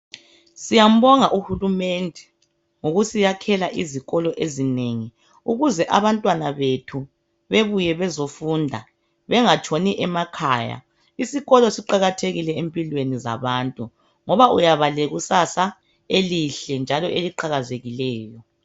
Siyambonga uhulumende ngokusiyakhela izikolo ezinengi ukuze abantwana bethu bebuye bezofunda bengatshoni emakhaya . Isikolo siqalathekile empilweni zabantu ngoba uyaba lekusasa elihle njalo eliqhakazekileyo.